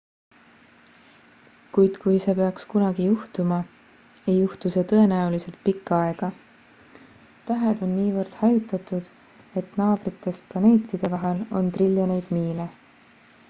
kuid kui see peaks kunagi juhtuma ei juhtu see tõenäoliselt pikka aega tähed on niivõrd hajutatud et naabritest planeetide vahel on triljoneid miile